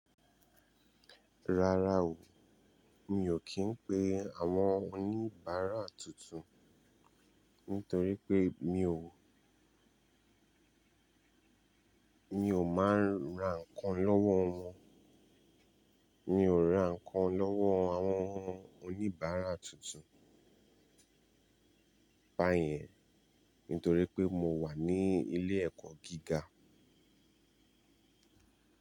Rárá o, mi ò kí ń pe àwọn oníbàárà tuntun, nítorí pé mi ò, mi ò máa ń ra ǹkan lọ́wọ́ wọn. Mi ò ra ǹkan lọ́wọ́ àwọn oníbàárà tuntun báyẹn nítorí pé mo wà ní ilé ẹ̀kọ́ gíga.